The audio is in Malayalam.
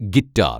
ഗിറ്റാര്‍